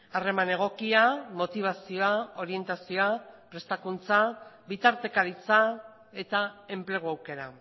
harreman egokia motibazioa orientazioa prestakuntza bitartekaritza eta enplegu aukera